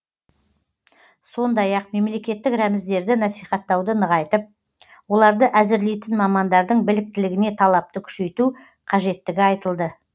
сондай ақ мемлекеттік рәміздерді насихаттауды нығайтып оларды әзірлейтін мамандардың біліктілігіне талапты күшейту қажеттігі айтылды